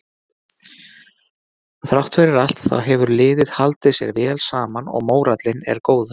Þrátt fyrir allt þá hefur liðið haldið sér vel saman og mórallinn er góður.